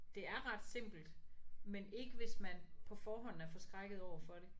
Det er ret simpelt men ikke hvis man på forhånd er forskrækket overfor det